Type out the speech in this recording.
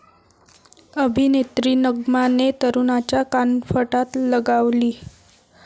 अभिनेत्री नग्माने तरुणाच्या कानफटात लगावली